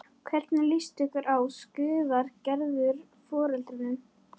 Hvernig líst ykkur á? skrifar Gerður foreldrunum.